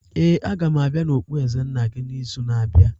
Ee, a ga m abịa na okpueze nna gị n'izu na-abịa.